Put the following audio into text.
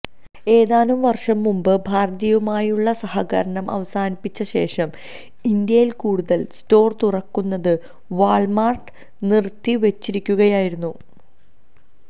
ഏതാനും വർഷംമുമ്പ് ഭാരതിയുമായുള്ള സഹകരണം അവസാനിപ്പിച്ചശേഷം ഇന്ത്യയിൽ കൂടുതൽ സ്റ്റോർ തുറക്കുന്നത് വാൾമാർട്ട് നിർത്തിവെച്ചിരിക്കുകായയിരുന്നു